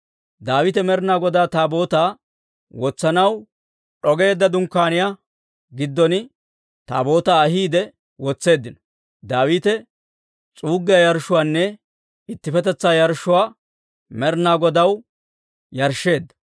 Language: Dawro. Daawite Med'inaa Godaa Taabootaa wotsanaw d'ogeedda dunkkaaniyaa giddon Taabootaa ahiide wotseeddino; Daawite s'uuggiyaa yarshshuwaanne ittippetetsaa yarshshuwaa Med'inaa Godaw yarshsheedda.